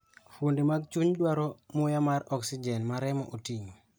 Fuonde mag chuny dwaro muya mar oxygen ma remo oting'o.